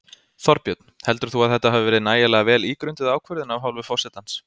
Þorbjörn: Heldur þú að þetta hafi verið nægilega vel ígrunduð ákvörðun af hálfu forsetans?